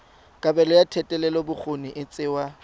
kabelo ya thetelelobokgoni e tsewa